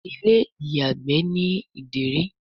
Ilé-ìyàgbé ní Ìdérí.